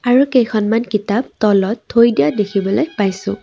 আৰু কেইখনমান কিতাপ তলত থৈ দিয়া দেখিবলৈ পাইছোঁ।